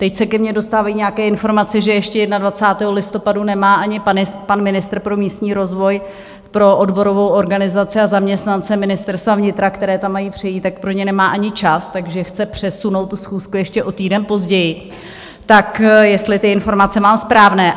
Teď se ke mně dostávají nějaké informace, že ještě 21. listopadu nemá ani pan ministr pro místní rozvoj pro odborovou organizaci a zaměstnance Ministerstva vnitra, kteří tam mají přejít, tak pro ně nemá ani čas, takže chce přesunout tu schůzku ještě o týden později, tak jestli ty informace mám správné.